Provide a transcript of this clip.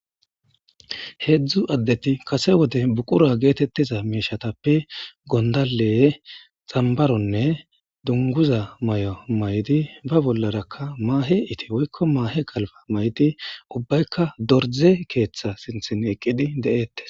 Hedzdzu adeti kase wode buqura getetizayitappe gondalenne tambaronne dunguza mayo mayidi ba bollarake mahe ikise woyiko mahe galba mayidi ubayika dorze ketha sinthan eqidi detees